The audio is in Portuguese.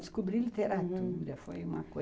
Descobri a literatura, hum, foi uma coisa